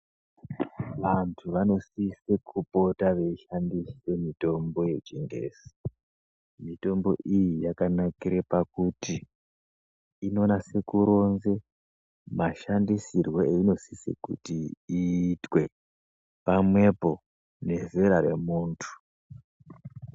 Vantu vanosise kupota veishandise mitombo yechingezi. Mitombo iyi yakanakire pakuti inonase kuronze mashandisirwe einosise kuti iitwe, pamwepo nezera remuntu.